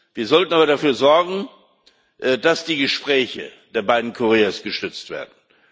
Wir sollten aber dafür sorgen, dass die Gespräche der beiden Koreas gestützt werden.